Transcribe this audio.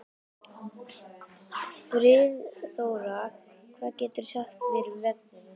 Friðþóra, hvað geturðu sagt mér um veðrið?